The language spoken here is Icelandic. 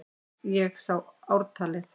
Ég sá ártalið!